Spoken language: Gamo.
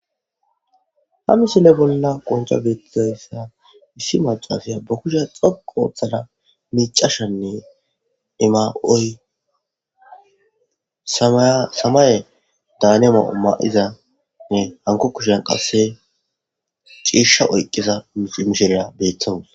Haa missile bolla qonicca betizayissa issi macashshiya baa kushshayi dhoqqu oththada micashshenne I mayoyi samayeda haniy mayo mayizza hanikko kushshiyanni qase cishsha oyikkiza mishshiriya betawussi.